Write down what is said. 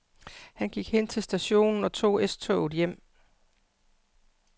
Han gik hen til stationen og tog S-toget hjem.